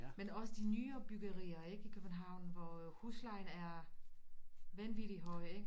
Men også de nyere byggerier ikke i København hvor huslejen er vanvittig høj ikke